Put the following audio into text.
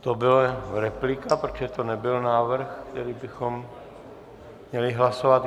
To byla replika, protože to nebyl návrh, který bychom měli hlasovat.